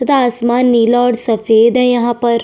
तथा आसमान नीला और सफेद हे यहाँ पर।